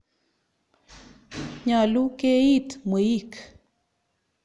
Nyalu keiit mweik.